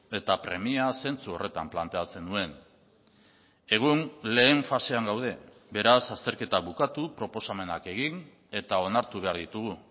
eta premia zentsu horretan planteatzen nuen egun lehen fasean gaude beraz azterketa bukatu proposamenak egin eta onartu behar ditugu